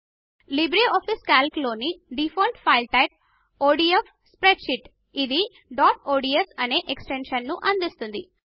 LibreOffice Calc లోని default file type ODF spreadsheet ఇది dot ODS అనే ఎక్స్ టెన్షన్ ను అందిస్తుంది